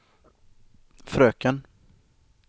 fröken